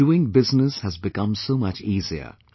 Doing business has become so much easier